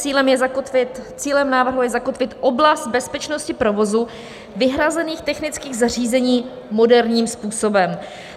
Cílem návrhu je zakotvit oblast bezpečnosti provozu vyhrazených technických zařízení moderním způsobem.